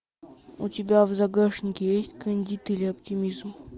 у тебя в загашнике есть кандид или оптимизм